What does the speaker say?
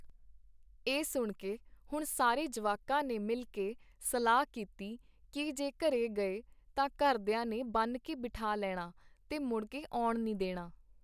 ਇਹ ਸੁਣਕੇ ਹੁਣ ਸਾਰੇ ਜਵਾਕਾਂ ਨੇ ਮਿਲਕੇ ਸਲਾਹ ਕੀਤੀ ਕੀ ਜੇ ਘਰੇ ਗਏ ਤਾਂ ਘਰਦੀਆਂ ਨੇ ਬੰਨ੍ਹਕੇ ਬਿਠਾ ਲੈਣਾ ਤੇ ਮੁੜਕੇ ਆਉਣ ਨੀ ਦੇਣਾ .